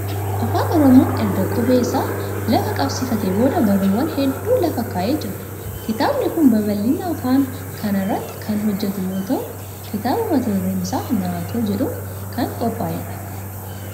Afaan Oromoon erga qubee isaa lafa qabsiifateen booda barruuwwan hedduu lafa kaa'ee jira. Kitaabni kun babal'ina afaan kanaa irratti kan hojjetu yoo ta'u, kitaaba mata dureen isaa Naatoo jedhuun kan qophaa'edha.